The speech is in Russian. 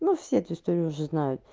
ну все эту историю уже знают